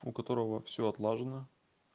у которого всё отлажено